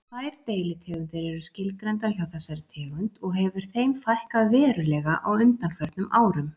Tvær deilitegundir eru skilgreindar hjá þessari tegund og hefur þeim fækkað verulega á undanförnum árum.